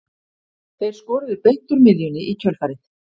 Þeir skoruðu beint úr miðjunni í kjölfarið.